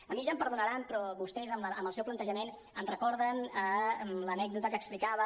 a mi ja em perdonaran però vostès amb el seu plantejament em recorden l’anècdota que explicava